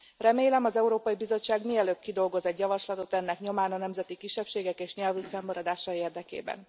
Remélem, az Európai Bizottság mielőbb kidolgoz egy javaslatot ennek nyomán a nemzeti kisebbségek és nyelvük fennmaradása érdekében.